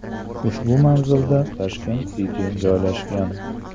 Ushbu manzilda Tashkent City joylashgan.